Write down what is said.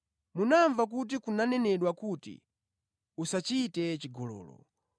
“Munamva kuti kunanenedwa kuti, ‘Usachite chigololo.’